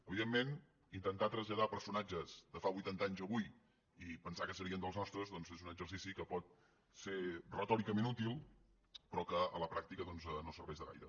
evidentment intentar traslladar personatges de fa vuitanta anys a avui i pensar que serien dels nostres doncs és un exercici que pot ser retòricament útil però que a la pràctica doncs no serveix de gaire